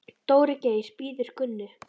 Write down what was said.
Dóri Geir bíður Gunnu.